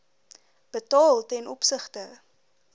betaal ten opsigte